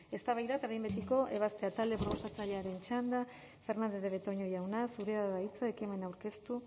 eztabaida eta behin betiko ebazpena talde proposatzailearen txanda fernandez de betoño jauna zurea da hitza ekimena aurkeztu